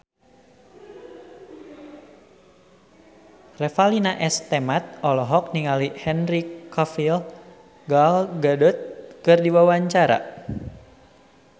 Revalina S. Temat olohok ningali Henry Cavill Gal Gadot keur diwawancara